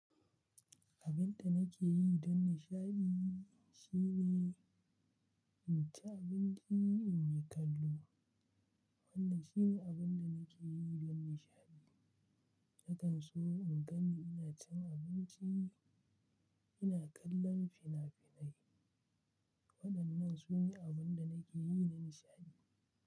Abin da nake yi don nishaɗi shine in ci abinci, in yi kallo. Wannan shine abin da nake yi don nishaɗi. Nakan so in gani ina cin abinci, ina kallon fina-finai. Waɗannan su ne abin da nake yi na nishaɗi.